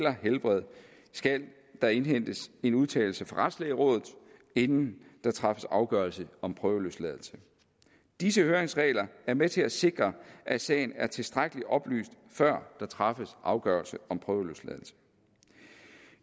og helbred skal der indhentes en udtalelse fra retslægerådet inden der træffes afgørelse om prøveløsladelse disse høringsregler er med til at sikre at sagen er tilstrækkelig oplyst før der træffes afgørelse om prøveløsladelse